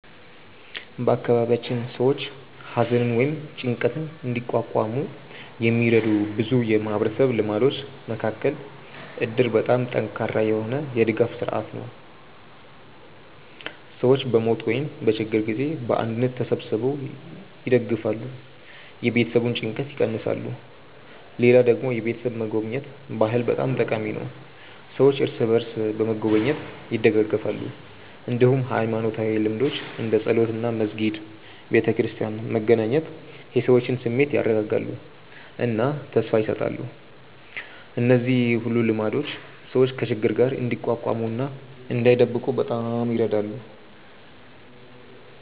በአካባቢያችን ሰዎች ሐዘንን ወይም ጭንቀትን እንዲቋቋሙ የሚረዱ ብዙ የማህበረሰብ ልማዶች መካከል እድር በጣም ጠንካራ የሆነ የድጋፍ ስርዓት ነው፤ ሰዎች በሞት ወይም በችግር ጊዜ በአንድነት ተሰብስበው ይደግፋሉ፣ የቤተሰቡን ጭንቀት ይቀንሳሉ። ሌላ ደግሞ የቤተሰብ መጎብኘት ባህል በጣም ጠቃሚ ነው፤ ሰዎች እርስ በርስ በመጎብኘት ይደጋገፋሉ። እንዲሁም ሃይማኖታዊ ልምዶች እንደ ጸሎት እና መስጊድ/ቤተክርስቲያን መገናኘት የሰዎችን ስሜት ያረጋጋሉ እና ተስፋ ይሰጣሉ። እነዚህ ሁሉ ልማዶች ሰዎች ከችግር ጋር እንዲቋቋሙ እና እንዳይብቁ በጣም ይረዳሉ።